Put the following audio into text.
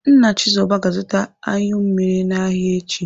Nna Chizoba ga-azụta anyụ mmiri n'ahịa echi.